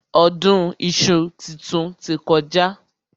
Ọdún iṣu titun ti kọjá.